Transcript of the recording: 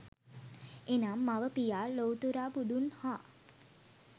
එනම්, මව, පියා, ලොව්තුරා බුදුන් හා